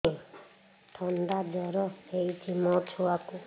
ଥଣ୍ଡା ଜର ହେଇଚି ମୋ ଛୁଆକୁ